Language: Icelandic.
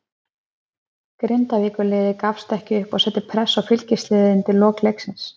Grindavíkurliðið gafst ekki upp og setti pressu á Fylkisliðið undir lok leiksins.